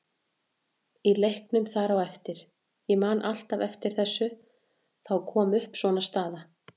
Í leiknum þar á eftir, ég man alltaf eftir þessu, þá kom upp svona staða.